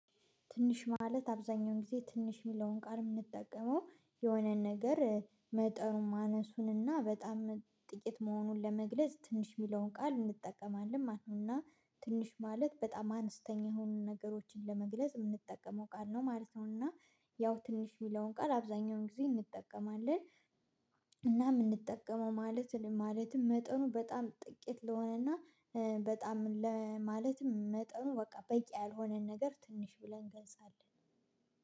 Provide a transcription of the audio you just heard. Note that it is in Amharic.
ትንሽ ማለት አብዛኛውን ጊዜ ትንሽ የሚለውን ቃል የምንጠቀመው የሆነን ነገር መጠኑን ማነሱንና በጣም ጥቂት መሆኑን ለመግለጽ ትንሽ የሚለውን ቃል እንጠቀማለን ማለት ነው። እና ትንሽ ማለት በጣም አነስተኛ የሆኑ ነገሮችን ለመግለጽ የምንጠቀመው ቃል ነው ማለት ነው። እና ያው ትንሽ የሚለውን ቃል አብዛኛውን ጊዜ እንጠቀማለን። እና የምንጠቀመው ማለት ማለትም መጠኑ በጣም ጥቂት ለሆነ እና በጣም ለማለትም መጠኑ በቃ በቂ ያልሆነን ነገር ትንሽ ብለን ገልጻለን።